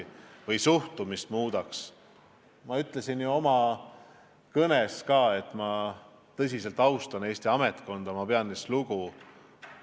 Ma ütlesin ju oma kõnes ka, et ma tõsiselt austan Eesti ametkonda, ma pean neist lugu.